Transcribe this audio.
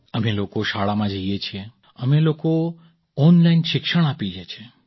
અમે લોકો શાળામાં જઈએ છીએ અમે લોકો ઑનલાઇન શિક્ષણ આપીએ છીએ